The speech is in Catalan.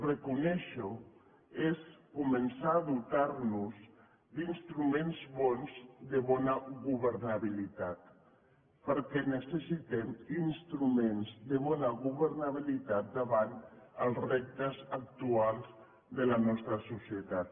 reconèixer ho és començar a dotar nos d’instruments bons de bona governabilitat perquè necessitem instruments de bona governabilitat davant els reptes actuals de la nostra societat